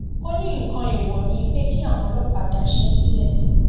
ó ní nǹkan èèwọ ni pé kí àwọn ọlọpàá daṣẹ sílẹ